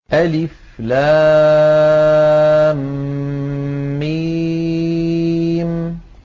الم